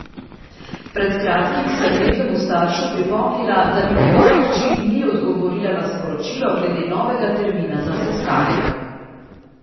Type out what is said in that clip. Pred kratkim sem nekemu staršu pripomnila, da mi njegova hči ni odgovorila na sporočilo glede novega termina za sestanek.